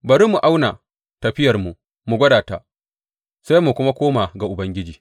Bari mu auna tafiyarmu mu gwada ta, sai mu kuma koma ga Ubangiji.